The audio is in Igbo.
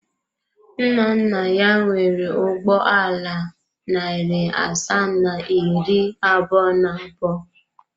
Nna nna ya nwere ụgbọ ala narị asaa na iri abụọ na abụọ.